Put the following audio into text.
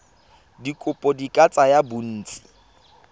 dikopo di ka tsaya bontsi